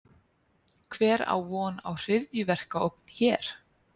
Hver á von á hryðjuverkaógn hér?